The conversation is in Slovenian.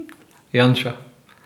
Janša.